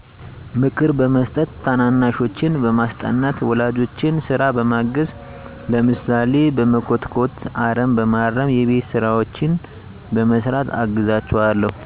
ምክር በመስጠት ታናናሾቼን በማስጠናት ወላጆቼን ስራ በማገዝ ለምሳሌ በመኮትኮት አረም በማረም የቤት ስራዎችን በመስራት አግዛቸዋለሁ